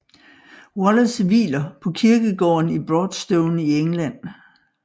Wallace hviler på kirkegården i Broadstone i England